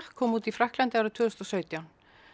kom út í Frakklandi árið tvö þúsund og sautján